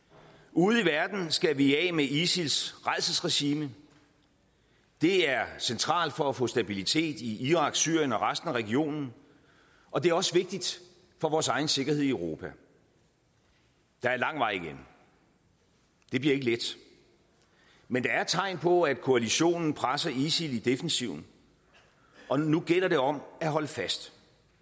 ude i verden skal vi af med isils rædselsregime det er centralt for at få stabilitet i irak syrien og i resten af regionen og det er også vigtigt for vores egen sikkerhed i europa der er lang vej igen det bliver ikke let men der er tegn på at koalitionen presser isil i defensiven og nu gælder det om at holde fast